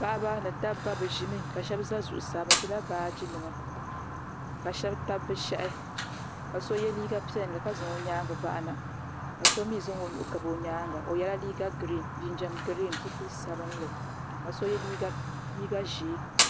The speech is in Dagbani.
Paɣiba ni dabba bɛ ʒimi ka shɛba za zuɣusaa bɛ ʒila baajinima ka shɛba tabi bɛ shɛhi ka so ye liiga piɛlli ka zaŋ o nyaaŋga bahi na ka so mi zaŋ o nuhi gabi o nyaaŋga o yɛla liiga girin ka so jinjam girin zipil' sabilinli ka so ye liiga ʒee.